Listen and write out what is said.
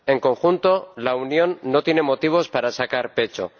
En conjunto, la Unión no tiene motivos para sacar pecho.